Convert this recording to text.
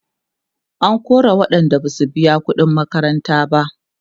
an kora waƴanda Basu biya ƙuɗin makaranta ba